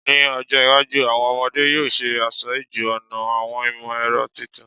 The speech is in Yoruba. Ni ojo iwaju, awọn ọmọde yoo ṣe aṣáájú-ọnà awọn imọ-ẹrọ titun